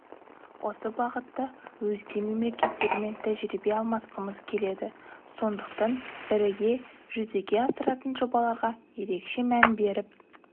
осы бағытта өзге мемлекеттермен тәжірибе алмасқымыз келеді сондықтан біріге жүзеге асыратын жобаларға ерекше мән беріп